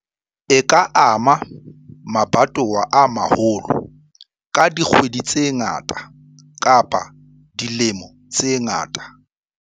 E ka ama mabatowa a maholo ka dikgwedi tse ngata kapa dilemo tse ngata.